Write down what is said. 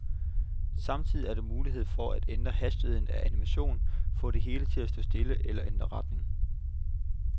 Samtidig er der mulighed for at ændre hastigheden af animationen, få det hele til at stå stille eller ændre retning.